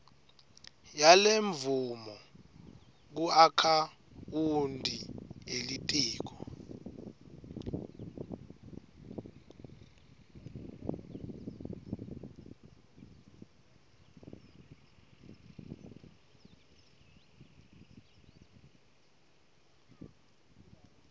yalemvumo kuakhawunti yelitiko